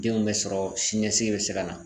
Denw bɛ sɔrɔ sini ɲɛsigi bɛ se ka na.